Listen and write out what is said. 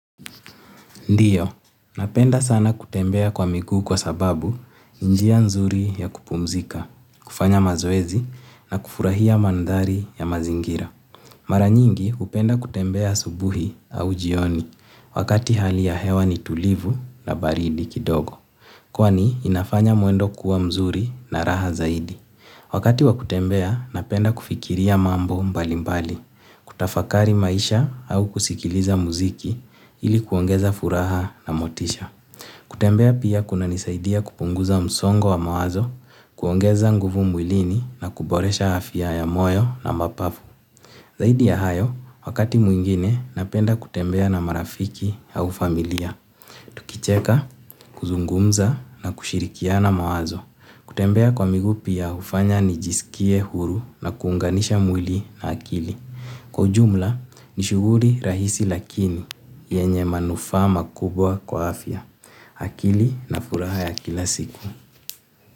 Ndiyo, napenda sana kutembea kwa miguu kwa sababu ni njia nzuri ya kupumzika, kufanya mazoezi na kufurahia mandhari ya mazingira. Maranyingi hupenda kutembea asubuhi au jioni wakati hali ya hewa ni tulivu na baridi kidogo. Kwani inafanya mwendo kuwa mzuri na raha zaidi. Wakati wa kutembea, napenda kufikiria mambo mbali mbali, kutafakari maisha au kusikiliza muziki ili kuongeza furaha na motisha. Kutembea pia kunanisaidia kupunguza msongo wa mawazo, kuongeza nguvu mwilini na kuboresha afya ya moyo na mapafu. Zaidi ya hayo, wakati mwingine, napenda kutembea na marafiki au familia, tukicheka, kuzungumza na kushirikiana mawazo. Kutembea kwa miguu pia hufanya nijisikie huru na kuunganisha mwili na akili. Kwa ujumla ni shughuli rahisi lakini yenye manufaa makubwa kwa afya. Akili na furaha ya kila siku.